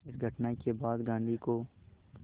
इस घटना के बाद गांधी को